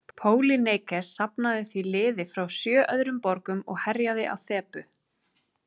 Pólýneikes safnaði því liði frá sjö öðrum borgum og herjaði á Þebu.